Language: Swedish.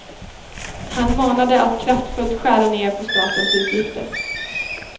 Han manade att kraftfullt skära ned på statens utgifter.